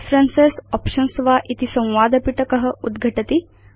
preferences options वा इति संवादपिटक उद्घटति